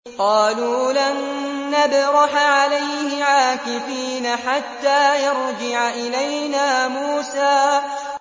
قَالُوا لَن نَّبْرَحَ عَلَيْهِ عَاكِفِينَ حَتَّىٰ يَرْجِعَ إِلَيْنَا مُوسَىٰ